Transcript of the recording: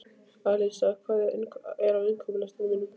Alísa, hvað er á innkaupalistanum mínum?